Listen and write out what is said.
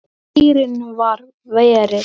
Heyrnin var verri.